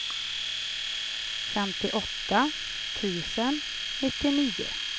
femtioåtta tusen nittionio